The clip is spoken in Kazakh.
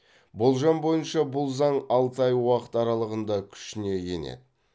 болжам бойынша бұл заң алты ай уақыт аралығында күшіне енеді